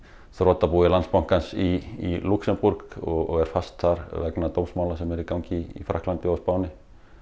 þrotabúi Landsbankans í Lúxemborg og er fast þar vegna dómsmála sem eru í gangi í Frakklandi og á Spáni